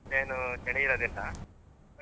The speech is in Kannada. ಅಷ್ಟೇನು ಚಳಿ ಇರುದಿಲ್ಲ.